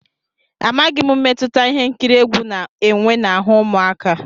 Amaghị m mmetụta ihe nkiri egwu na-enwe n'ahụ́ ụmụaka.